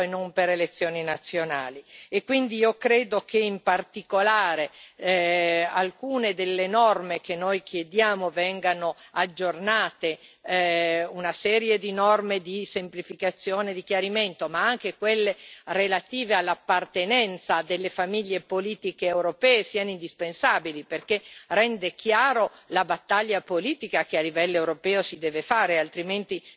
Quindi io credo che in particolare alcune delle norme che noi chiediamo vengano aggiornate, una serie di norme di semplificazione di chiarimento, ma anche quelle relative all'appartenenza a delle famiglie politiche europee, siano indispensabili perché ciò rende chiaro la battaglia politica che a livello europeo si deve fare, altrimenti nessuno sa di cosa si sta parlando.